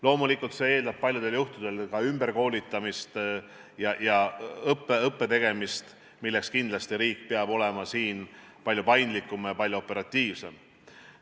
Loomulikult eeldab see paljudel juhtudel ka ümberkoolitamist ja õpet, kindlasti riik peab olema siin palju paindlikum ja operatiivsem.